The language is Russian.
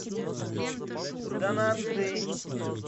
данатсдэй